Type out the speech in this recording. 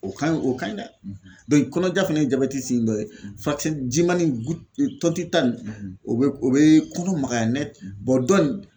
O ka ɲi o ka ɲi dɛ. kɔnɔja fɛnɛ ye jabɛti dɔ ye fati jimani in u tɔntita nin o be o bee kɔnɔ magaya . dɔn nin